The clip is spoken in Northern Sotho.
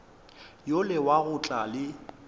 yola wa go tla le